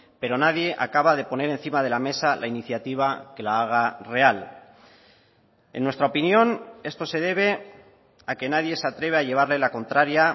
pero nadie acaba de poner encima de la mesa la iniciativa que la haga real en nuestra opinión esto se debe a que nadie se atreve a llevarle la contraria